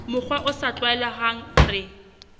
mokgwa o sa tlwaelehang re